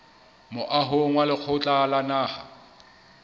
moahong wa lekgotla la naha